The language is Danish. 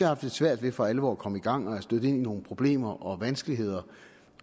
haft lidt svært ved for alvor at komme i gang og er stødt ind i nogle problemer og vanskeligheder